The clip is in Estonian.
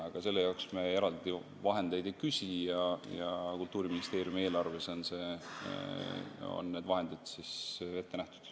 Aga selle jaoks me eraldi vahendeid ei küsi, Kultuuriministeeriumi eelarves on need vahendid ette nähtud.